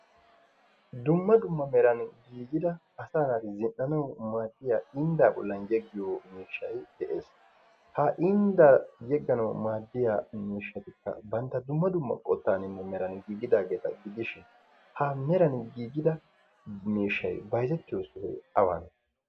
Dumma dumma meran giigida asa medhdhanawu maadiya indda bollan yeggiyo miishshay de'ees. Ha inddan yegganaw maaddiya miishshatikka bantta dumma dumma qottaninne meran giigidaageeta gidishin dumma dumma meran giigida miishshay bayzzetiyo sohoy awane?